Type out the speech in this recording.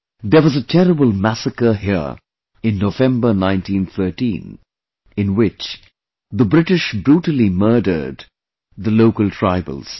There was a terrible massacre here in November 1913, in which the British brutally murdered the local tribals